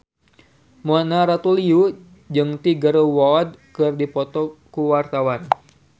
Mona Ratuliu jeung Tiger Wood keur dipoto ku wartawan